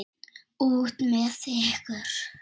Út með ykkur!